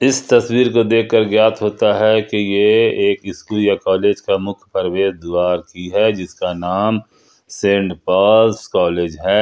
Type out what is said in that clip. इस तस्वीर को देखकर ज्ञात होता है कि ये एक स्कूल कॉलेज का मुख्य प्रवेश द्वार की है जिसका नाम सेंड पॉज कॉलेज है।